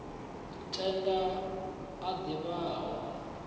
tenda a div ha o